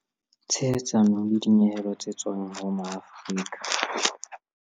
Tshehetsano le dinyehelo tse tswang ho Maafrika